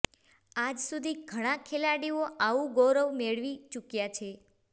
આજ સુધી ઘણા ખેલાડીઓ આવું ગૌરવ મેળવી ચૂક્યા છે